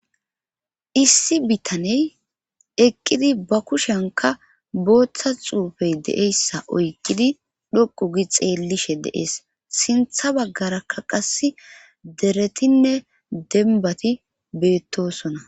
Issi bitaney eqqidi ba kushenka booththa xuufey deeyssa oyqidi dhoqu gi xeellishe deees sintha baggaraka qas deretinne denbati beettosona.